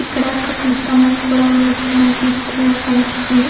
ఇక్కడ కరెంటు స్తంభం కూడా ఉన్నట్టు మనకి ఈ చిత్రంలో కనిపిస్తుంది.